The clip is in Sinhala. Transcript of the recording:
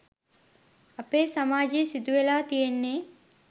අපේ සමාජේ සිදුවෙලා තියෙන්නේ.